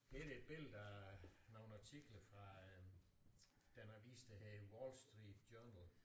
Her er der et billede af nogle artikler fra den avis der hedder Wall Street Journal